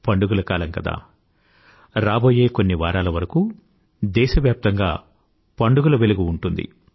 పండుగల కాలం కదా రాబోయే కొన్ని వారాల వరకూ దేశవ్యాప్తంగా పండుగల వెలుగు ఉంటుంది